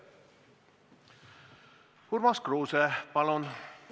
Urmas Kruuse, palun!